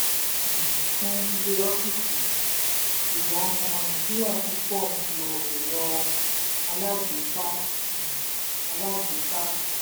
um starlink fún um ilé/ọ́fíìsì um ṣùgbọ́n ọmọ nàìjíríà púpọ̀ n lo ẹ̀rọ alágbèéká. ẹ̀rọ alágbèéká.